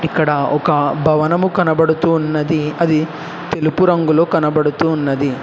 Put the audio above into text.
ఇక్కడ ఒక భవనము కనబడుతున్నది అది తెలుపు రంగులు కనబడుతూ ఉన్నది